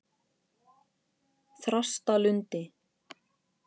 Þrastalundi